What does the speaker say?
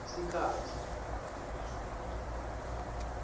sikhatsi